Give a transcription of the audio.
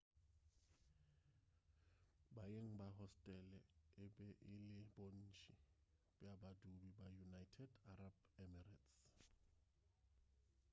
baeng ba hostele e be e le bontši bja badudi ba united arab emirates